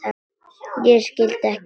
Ég skildi ekki alveg.